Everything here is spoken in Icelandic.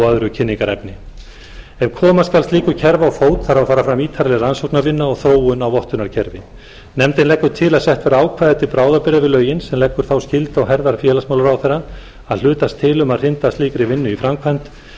öðru kynningarefni ef koma skal slíku kerfi á fót þarf að fara fram ítarleg rannsóknarvinna og þróun á vottunarkerfi nefndin leggur til að sett verði ákvæði til bráðabirgða við lögin sem leggur þá skyldu á herðar félagsmálaráðherra að hlutast til um að hrinda slíkri vinnu í framkvæmd